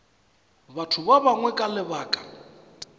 batho ba bangwe ka lebaka